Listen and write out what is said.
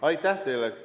Aitäh teile!